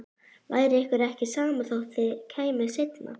Væri ykkur ekki sama þótt þið kæmuð seinna?